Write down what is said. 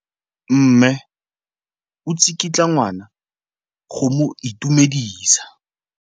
Mme o tsikitla ngwana go mo itumedisa.